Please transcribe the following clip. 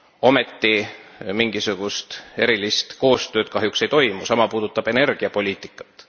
Ometi mingisugust erilist koostööd kahjuks ei toimu, sama puudutab energiapoliitikat.